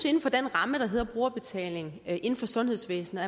inden for den ramme der hedder brugerbetaling inden for sundhedsvæsenet